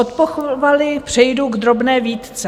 Od pochvaly přejdu k drobné výtce.